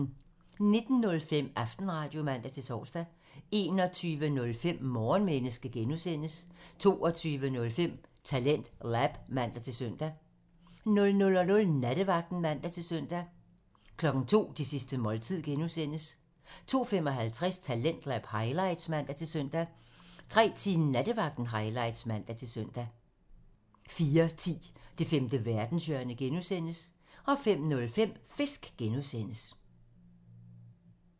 19:05: Aftenradio (man-tor) 21:05: Morgenmenneske (G) 22:05: TalentLab (man-søn) 00:00: Nattevagten (man-søn) 02:00: Det sidste måltid (G) (man) 02:55: Talentlab highlights (man-søn) 03:10: Nattevagten highlights (man-søn) 04:10: Det femte verdenshjørne (G) (man) 05:05: Fisk (G) (man)